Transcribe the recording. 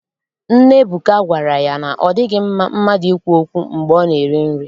Nne Ebuka gwara ya na ọ dịghị mma mmadụ ikwu okwu mgbe ọ na-eri nri.